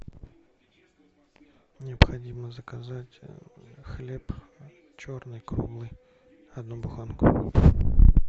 необходимо заказать хлеб черный круглый одну буханку